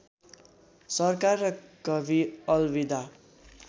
सरकार र कभी अलविदा